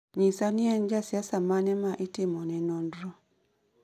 nyisa ni en ja siasa mane ma itimone nonro